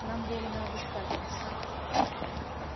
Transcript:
нам велено обыскать вас